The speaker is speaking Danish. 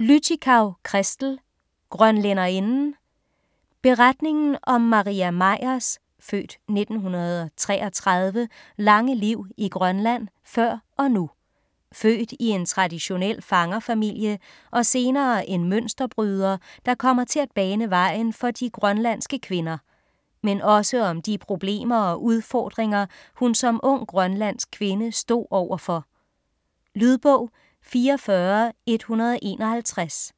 Lüttichau, Christel: Grønlænderinden Beretningen om Maria Meyers (f. 1933) lange liv i Grønland før og nu. Født i en traditionel fangerfamilie og senere en mønsterbryder, der kommer til at bane vejen for de grønlandske kvinder. Men også om de problemer og udfordringer, hun som ung grønlandsk kvinde stod over for. Lydbog 44151